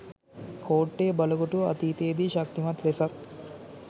කෝට්ටේ බලකොටුව අතීතයේ දී ශක්තිමත් ලෙසත්